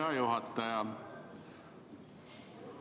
Hea juhataja!